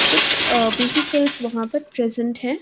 कुछ अ व्हीकल्स वहाँ पर प्रेजंट हैं।